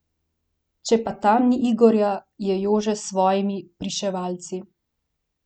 Če pa tam ni Igorja, je Jože s svojimi Pričevalci.